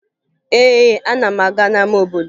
Ee, ana m aga n'ama obodo